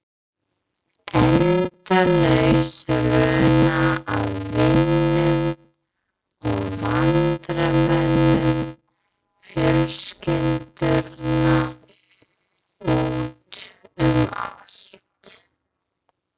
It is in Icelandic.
Endalaus runa af vinum og vandamönnum fjölskyldunnar út um allt.